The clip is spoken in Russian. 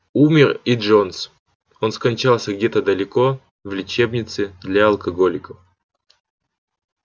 умер и джонс он скончался где-то далеко в лечебнице для алкоголиков